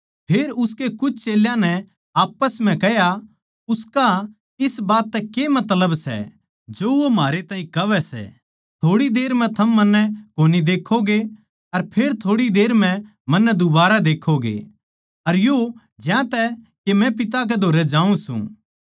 फेर उसके कुछ चेल्यां नै आप्पस म्ह कह्या उसका इस बात तै के मतलब सै जो वो म्हारै ताहीं कहवै सै थोड़ी देर म्ह थम मन्नै कोनी देक्खोगे अर फेर थोड़ी देर म्ह मन्नै दुबारा देक्खोगे अर यो ज्यांतै के मै पिता कै धोरै जाऊँ सूं